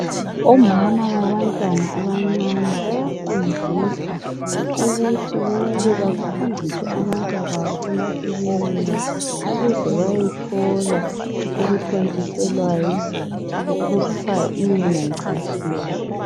Omama babantwana abancane bayafundiswa ukuthi kumele bahambise abantwa babo emakilinika ukuze bayethola okuthontiselwayo okuthiwa yi"immunization".